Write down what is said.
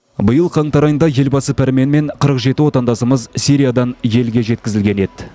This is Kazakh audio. биыл қаңтар айында елбасы пәрменімен қырық жеті отандасымыз сириядан елге жеткізілген еді